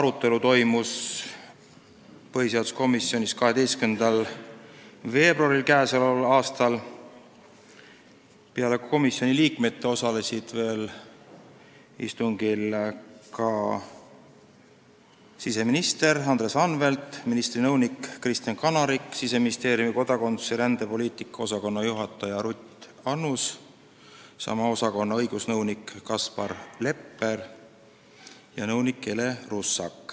arutelu toimus põhiseaduskomisjonis 12. veebruaril k.a. Peale komisjoni liikmete osalesid istungil veel siseminister Andres Anvelt, ministri nõunik Kristen Kanarik, Siseministeeriumi kodakondsus- ja rändepoliitika osakonna juhataja Ruth Annus ning sama osakonna õigusnõunik Kaspar Lepper ja nõunik Ele Russak.